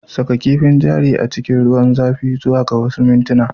Saka kifin jari a cikin ruwan zafi zuwa ga wasu minti